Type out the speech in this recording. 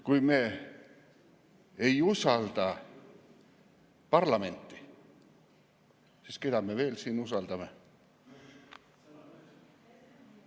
Kui me ei usalda parlamenti, siis keda me veel usaldame?